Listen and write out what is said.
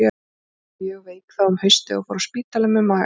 Amma varð mjög veik þá um haustið og fór á spítala með magasár.